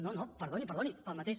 no no perdoni perdoni pel mateix